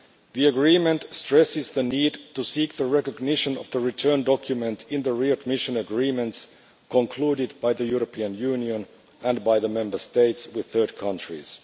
The agreement stresses the need to seek the recognition of the return document in the readmission agreements concluded by the European Union and by the Member States with third countries.